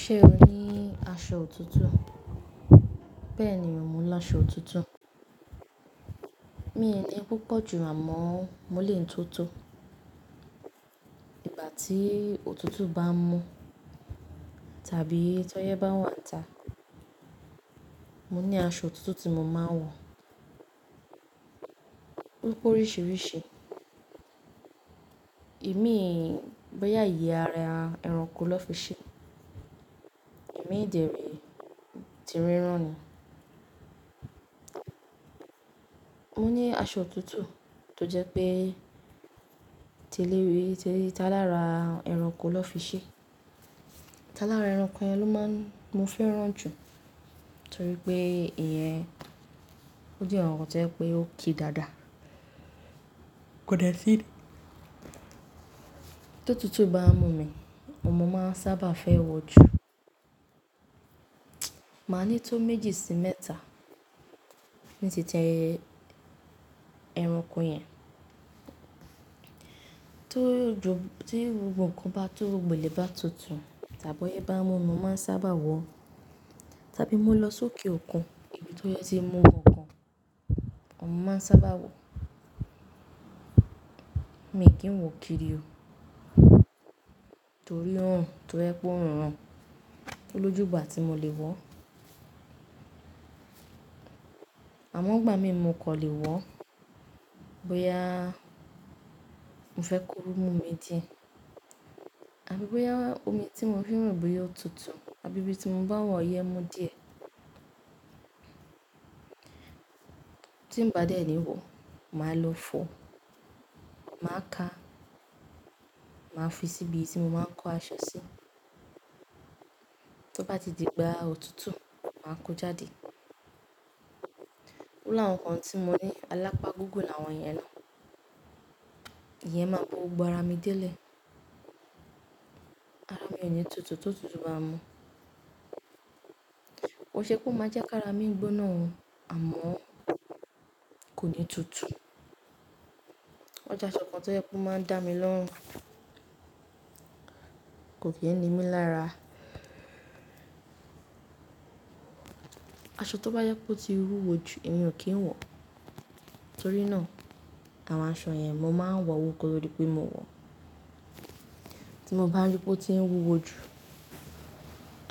Ṣé o ní aṣọ òtútù? Bẹ́ẹ̀ni mò ńi aṣọ òtútù. Mi ì ní púpọ̀ jù àmọ́ mò lè yìí tótó. Ìgbà tí òtútù bá ń mú tàbí tọ́yẹ́ bá wàńta, mò ní aṣọ òtútù tí mò máa ń wọ̀. Ó pé oríṣiríṣi. Ìmíì bóyá ìyé ara ẹranko lọ́ fi ṣe, ìmilíì dẹ̀ ré ti rírán ni. Mò ní aṣọ òtútù tó jẹ́ pé tí tálárà ẹranko lọ́ fi ṣe. Tálárà ẹranko yẹn ló máa ń, mo fẹ́ràn jù torí pé ìyẹn ó jẹ́ nkankan tó jẹ́ pé ó ki dáadáa. Kò dẹ̀ sí tí òtútù bá ń mú mi, òun ni mo máa ń sábà fẹ́ wọ̀ jù. Màá ní tó méjì sí mẹ́ta ní titi ẹranko yẹn. Tó jo, tí gbogbo ǹkan bá tó, gbogbo ilẹ̀ bá tutù tàbí ọyẹ́ bá mú ni mo máa ń sábà wọ̀ ọ́. Tàbí mo lọ sókè òkun, ibi tọ́yẹ́ tí ń mú gangan, òun mo máa ń sábà wọ̀. Mi kì í wọ kiri o. Torí náà tó bá jẹ́ pé òòrùn ràn ó lójú ìgbà tí mo lè wọ̀ọ́. Àmọ́ ngbà mìí mo kàn lè wọ̀ọ́ bóyá mo fẹ́ korú mú mi díẹ̀ àbí bóyá omi tí mo fi ń wẹ̀ bóyá ò tutù àbí bí ti mo bá wà ọyẹ́ mú díẹ̀. Tí n bá dẹ̀ ẹlni wọ̀ọ́, màá lọ fọ̀ọ́, màá ká, màá fi síbi tí mo máa ń kó aṣọ sí. Tó bá ti di ìgbà òtútù, màá kó jáde. Ó làwọn kan tí mò ní, alápá gígùn làwọn yẹn náà. Iyẹn máa bo gbogbo ara mi délẹ̀. Ara mi ò ní tutù tó tutù bá ń mú. Kìí ṣe pé ó máa jẹ́ ká ara mi gbóná o àmọ́ kò ní tutù. Ójẹ́ aṣọ kan tó jẹ́ pé ó máa ń dámi lọ́rùn, kò n ni mí lára. Aṣọ tó bá jẹ́ pé ó ti wúwo jù, èmi ò kí ń wọ̀. Torí náà àwọn aṣọ yẹn mò máa ń wọ̀ọ́ wò kó to dí pé mò wọ̀ọ́. Tí mo bá rí pé ó ti ń wúwo jù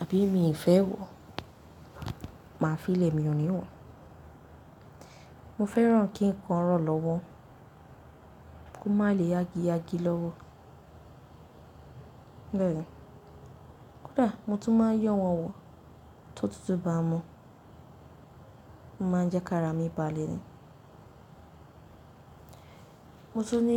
àbí mi ì fẹ́ wọ̀, màá fií lẹ̀ mi ò ní wọ̀ọ́. Mo fẹ́ràn kí nǹkan rọ̀ lọ́wọ́, kó má le yágíyágí lọ́wọ́. Bẹ́ẹ̀ni, kódà mò tún máa ń yọ́ wọ̀n wọ̀ tó tulútù bá ń mú. Ó máa ń jẹ́ kára mi balẹ̀ ni. Mo tún ní.